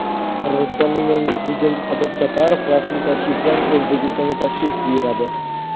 Qirg‘izistonning yangi prezidenti Sadir Japarov rasmiy tashrif bilan O‘zbekistonga tashrif buyuradi.